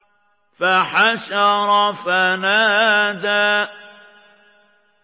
فَحَشَرَ فَنَادَىٰ